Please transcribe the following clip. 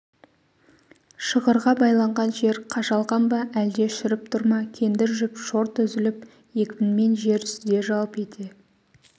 шығырға байланған жер қажалған ба әлде шіріп тұр ма кендір жіп шорт үзіліп екпінмен жер сүзе жалп ете